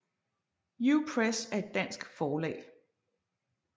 U Press er et dansk forlag